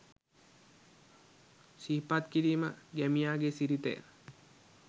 සිහිපත් කිරීම ගැමියාගේ සිරිතය.